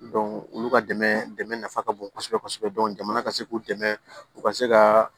olu ka dɛmɛ dɛmɛ nafa ka bon kosɛbɛ kosɛbɛ jamana ka se k'u dɛmɛ u ka se ka